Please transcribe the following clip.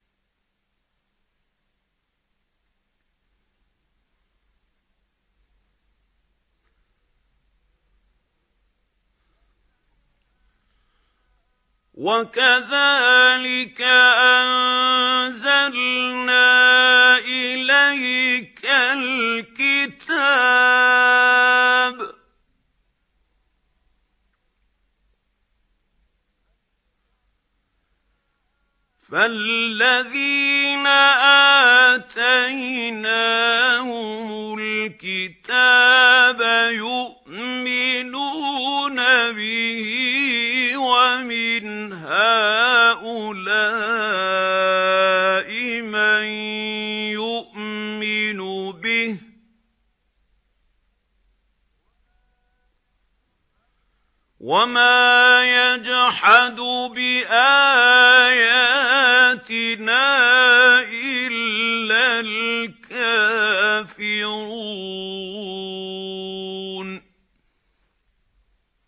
وَكَذَٰلِكَ أَنزَلْنَا إِلَيْكَ الْكِتَابَ ۚ فَالَّذِينَ آتَيْنَاهُمُ الْكِتَابَ يُؤْمِنُونَ بِهِ ۖ وَمِنْ هَٰؤُلَاءِ مَن يُؤْمِنُ بِهِ ۚ وَمَا يَجْحَدُ بِآيَاتِنَا إِلَّا الْكَافِرُونَ